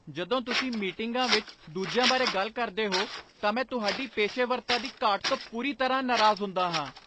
ਜਦੋਂ ਤੁਸੀਂ ਮੀਟਿੰਗਾਂ ਵਿੱਚ ਦੂਜਿਆਂ ਬਾਰੇ ਗੱਲ ਕਰਦੇ ਹੋ ਤਾਂ ਮੈਂ ਤੁਹਾਡੀ ਪੇਸ਼ੇਵਰਤਾ ਦੀ ਘਾਟ ਤੋਂ ਪੂਰੀ ਤਰ੍ਹਾਂ ਨਾਰਾਜ਼ ਹੁੰਦਾ ਹਾਂ।